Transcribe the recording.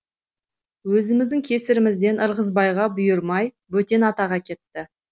өзіміздің кесірімізден ырғызбайға бұйырмай бөтен атаға кетті